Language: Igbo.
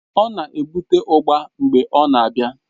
Ọ na-ebute ugba mgbe ọ na-abịa